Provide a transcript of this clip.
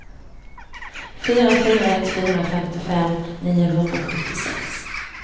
fyra fyra ett fyra femtiofem niohundrasjuttiosex